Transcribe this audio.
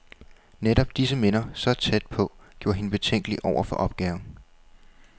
Netop disse minder, så tæt på, gjorde hende betænkelig over for opgaven.